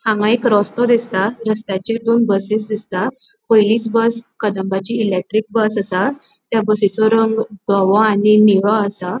हांगा एक रस्तों दिसता रस्त्याचेर दोन बसिस दिसता पयलिच बस कदंबाची इलेक्ट्रिक बस असा त्या बसीचो रंग धवों आणि नीळो आसा.